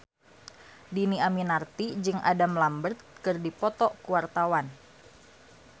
Dhini Aminarti jeung Adam Lambert keur dipoto ku wartawan